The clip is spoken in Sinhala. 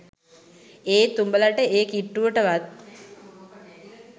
ඒත් උඹලට ඒ කිට්ටුවට වත්